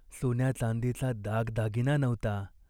सोन्याचांदीचा दागदागिना नव्हता.